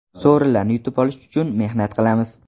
Sovrinlarni yutib olish uchun mehnat qilamiz.